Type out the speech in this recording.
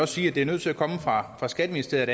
sige at det er nødt til at komme fra skatteministeriet